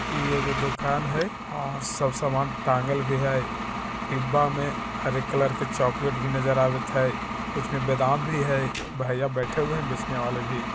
ये एगो दुकान है और सब सामान टाँगल भी है डिब्बा में हरे कलर के चॉकलेट भी नज़र आवत है कुछ में बादाम भी है भैया बैठे हुवे है बेचने वाले भी।